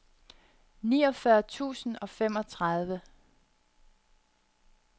niogfyrre tusind og femogtredive